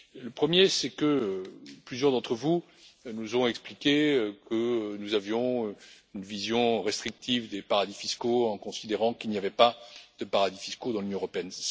Le premier, c'est que plusieurs d'entre vous nous ont expliqué que nous avons une vision restrictive des paradis fiscaux lorsque nous considérons qu'il n'y a pas de paradis fiscaux dans l'Union européenne.